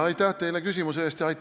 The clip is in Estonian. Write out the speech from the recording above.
Aitäh teile küsimuse eest!